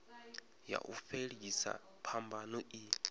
ya u fhelisa phambano i